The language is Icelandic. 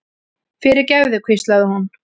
fyrirgefðu, hvíslaði hún.